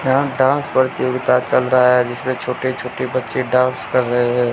यहां डांस प्रतियोगिता चल रहा है। जिसमें छोटे छोटे बच्चे डांस कर रहे है।